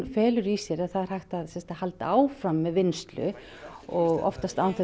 felur í sér að það er hægt að halda áfram með vinnslu og oftast án þess